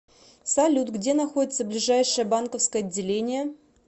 салют где находится ближайшее банковское отделение